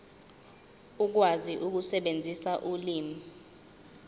ukwazi ukusebenzisa ulimi